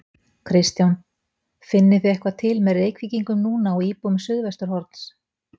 Kristján: Finnið þið eitthvað til með Reykvíkingum núna og íbúum Suðvesturhorns?